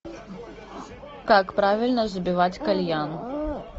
как правильно забивать кальян